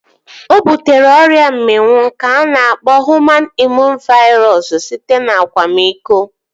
O butere ọrịa mminwụ nke a na-akpọ Hụman Imụn Vairọs (HIV) site n'akwamiko